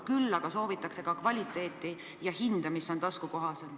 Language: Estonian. Küll aga soovitakse head kvaliteeti ja hinda, mis on taskukohasem.